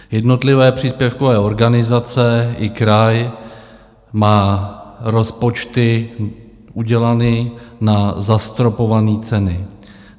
Jednotlivé příspěvkové organizace i kraj mají rozpočty udělané na zastropované ceny.